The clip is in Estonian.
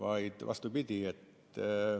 Pigem on vastupidi.